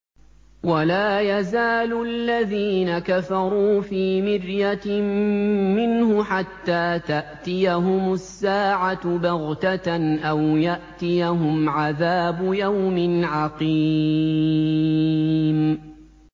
وَلَا يَزَالُ الَّذِينَ كَفَرُوا فِي مِرْيَةٍ مِّنْهُ حَتَّىٰ تَأْتِيَهُمُ السَّاعَةُ بَغْتَةً أَوْ يَأْتِيَهُمْ عَذَابُ يَوْمٍ عَقِيمٍ